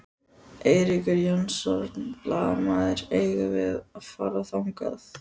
Eiríkur Jónsson, blaðamaður: Eigum við að fara þangað?